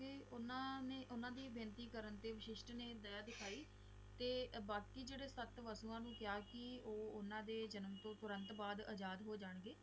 ਤੇ ਓਹਨਾ ਦੀ ਬੇਨਤੀ ਕਰਨ ਤੇ ਵਸ਼ਿਸ਼ਟ ਨੇ ਦਯਾ ਦਿਖਾਈ ਤੇ ਬਕੀ ਜਿਹੜੇ ਸਤ ਵਾਸਨਾ ਨੂੰ ਕਿਹਾ ਕਿ ਓਹਨਾ ਦੇ ਜਨਮ ਤੋਂ ਤੁਰੰਤ ਬਾਅਦ ਅਜ਼ਾਦ ਹੋਣਗੇ